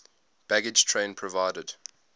baggage train provided